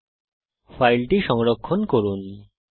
এখন ফাইলটি সংরক্ষণ করুন